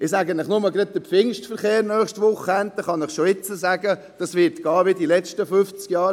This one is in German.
Ich kann Ihnen schon jetzt sagen, dass der Pfingstverkehr am nächsten Wochenende sein wird wie während der letzten fünfzig Jahre.